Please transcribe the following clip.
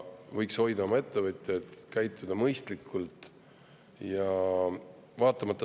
Võiks hoida oma ettevõtjaid, käituda mõistlikult.